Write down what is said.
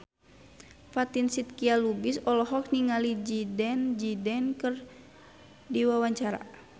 Fatin Shidqia Lubis olohok ningali Zidane Zidane keur diwawancara